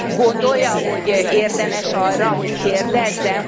gondolja, hogy érdemes arra, hogy kérdezzen?